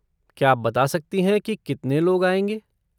क्या आप बता सकती हैं कि कितने लोग आएँगे?